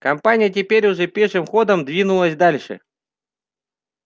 компания теперь уже пешим ходом двинулась дальше